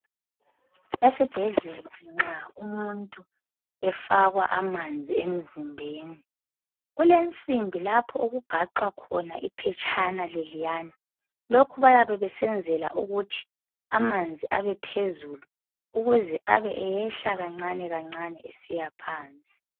Esibhedlela nxa umuntu efakwa amanzi emzimbeni, kulensimbi lapho okugaxhwa khona iphetshana leliyana, lokhu bayabe kusenzelwa ukuthi amanzi abephezulu ukuze abeyehla kancane kancane esiya phansi.